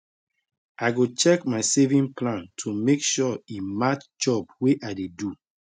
i go check my saving plan to make say e match job way i dey find